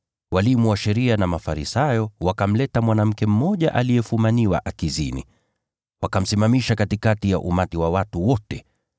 Walimu wa sheria na Mafarisayo wakamleta mwanamke mmoja aliyefumaniwa akizini. Wakamsimamisha katikati ya umati wa watu wote.